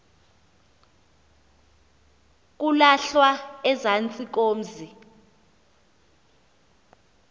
kulahlwa ezantsi komzi